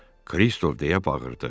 Kristof deyə bağırdı.